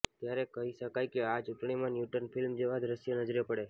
ત્યારે કહી શકાય કે આ ચૂંટણીમાં ન્યુટન ફિલ્મ જેવા દ્રશ્યો નજરે પડે